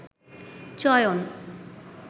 চয়ন